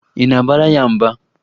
Ị na-abara ya mba?